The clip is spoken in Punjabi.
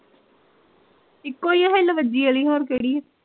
ਇੱਕੋ ਈ ਐ ਹਿੱਲ ਵੱਜੀ ਆਲੀ ਹੋਰ ਕਿਹੜੀ ਐ